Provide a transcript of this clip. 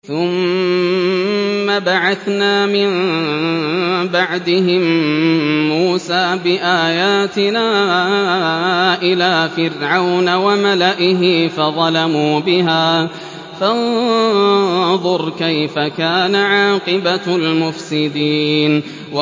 ثُمَّ بَعَثْنَا مِن بَعْدِهِم مُّوسَىٰ بِآيَاتِنَا إِلَىٰ فِرْعَوْنَ وَمَلَئِهِ فَظَلَمُوا بِهَا ۖ فَانظُرْ كَيْفَ كَانَ عَاقِبَةُ الْمُفْسِدِينَ